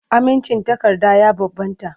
Amincin takarda ya bambanta.